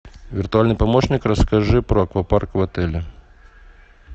виртуальный помощник расскажи про аквапарк в отеле